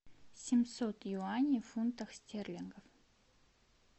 семьсот юаней в фунтах стерлингов